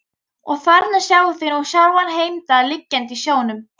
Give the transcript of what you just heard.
Og þarna sjáið þið nú sjálfan Heimdall liggjandi á sjónum.